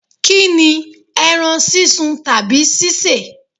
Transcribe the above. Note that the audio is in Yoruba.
Kini, ẹran sísun tàbí ṣíṣe?